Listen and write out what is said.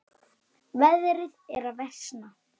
Veðrið er að versna.